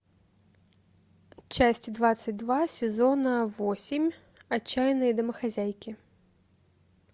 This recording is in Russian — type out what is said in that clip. часть двадцать два сезона восемь отчаянные домохозяйки